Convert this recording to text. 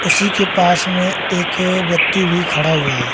उसी के पास में एक व्यक्ति भी खड़ा हुआ है।